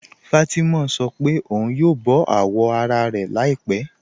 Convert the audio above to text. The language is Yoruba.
Fátimà sọ́ pẹ̀ ọ̀un yóò bọ awọ́ ara rẹ̀ làípẹ̀